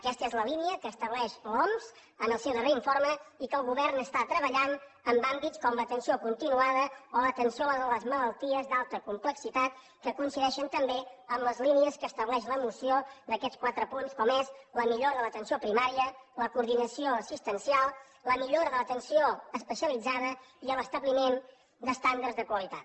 aquesta és la línia que estableix l’oms en el seu darrer informe i que el govern està treballant en àmbits com l’atenció continuada o l’atenció a les malalties d’alta complexitat que coincideixen també amb les línies que estableix la moció d’aquests quatre punts com és la millora de l’atenció primària la coordinació assistencial la millora de l’atenció especialitzada i l’establiment d’estàndards de qualitat